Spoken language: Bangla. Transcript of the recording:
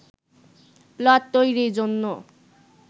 প্লট তৈরির জন্য